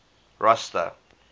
rosta